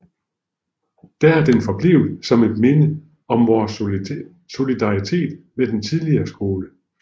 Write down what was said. Der er den forblevet som et minde om vores solidaritet med den tidligere skole